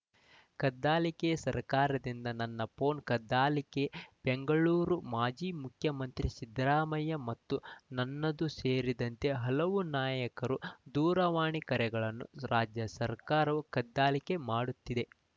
ಕದ್ದಾಲಿಕೆ ಸರ್ಕಾರದಿಂದ ನನ್ನ ಫೋನ್‌ ಕದ್ದಾಲಿಕೆ ಬೆಂಗಳೂರು ಮಾಜಿ ಮುಖ್ಯಮಂತ್ರಿ ಸಿದ್ದರಾಮಯ್ಯ ಮತ್ತು ನನ್ನದು ಸೇರಿದಂತೆ ಹಲವು ನಾಯಕರು ದೂರವಾಣಿ ಕರೆಗಳನ್ನು ರಾಜ್ಯ ಸರ್ಕಾರವು ಕದ್ದಾಲಿಕೆ ಮಾಡುತ್ತಿದೆ